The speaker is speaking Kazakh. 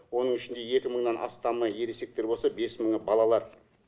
оның ішінде екі мыңнан астамы ересектер болса бес мыңы балалар